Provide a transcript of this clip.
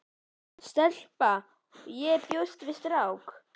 Stelpa- og ég sem bjóst við strák.